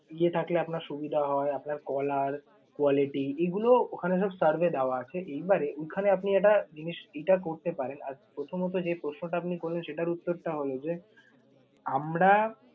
ইয়ে থাকলে আপনার সুবিধা হয়? আপনার caller, quality এইগুলো ওখানে সব form এ দেওয়া আছে। এইবারে ওইখানে আপনি একটা জিনিস এটা করতে পারেন প্রথমত যে প্রশ্ন টা আপনি করলেন, সেটার উত্তর টা হল যে আমরা